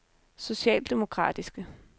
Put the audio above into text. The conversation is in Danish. socialdemokratiske